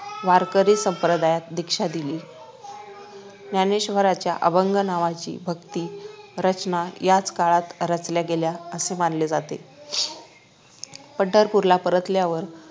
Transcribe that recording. वारकरी संप्रदायात दीक्षा दिली ज्ञानेश्वरांच्या अभंग नावाच्या भक्ती रचना याच काळात रचल्या गेल्या असे मानले जाते पंढरपूरला पारतल्यावर